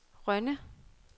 Rønne